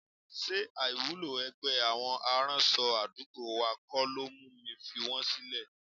Ṣé àìwúlò ẹgbẹ́ àwọn aránṣọ àdúgbò wa kọ́ ló mú mi fi wọn sílẹ̀?